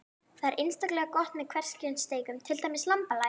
Þetta er einstaklega gott með hverskyns steikum, til dæmis lambalæri.